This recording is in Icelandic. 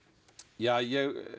ég